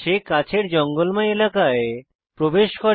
সে কাছের জঙ্গলময় এলাকায় প্রবেশ করে